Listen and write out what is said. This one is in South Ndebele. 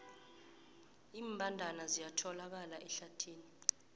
iimbandana ziyatholakala ehlathini